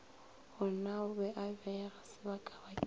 gonao be a beega sebakabakeng